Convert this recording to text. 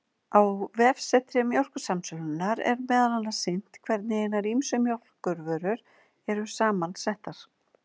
Á vefsetri Mjólkursamsölunnar, er meðal annars sýnt hvernig hinar ýmsu mjólkurvörur eru saman settar.